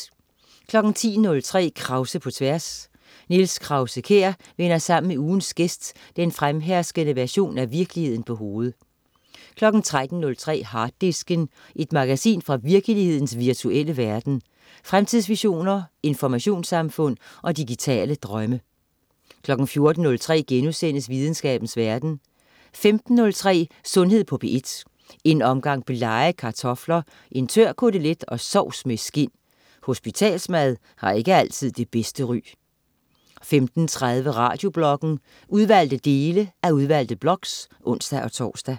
10.03 Krause på tværs. Niels Krause-Kjær vender sammen med ugens gæst den fremherskende version af virkeligheden på hovedet 13.03 Harddisken. Et magasin fra virkelighedens virtuelle verden. Fremtidsvisioner, informationssamfund og digitale drømme 14.03 Videnskabens verden* 15.03 Sundhed på P1. En omgang blege kartofler, en tør kotelet og sovs med skind. Hospitalsmad har ikke altid det bedste ry 15.30 Radiobloggen. Udvalgte dele af udvalgte blogs (ons-tors)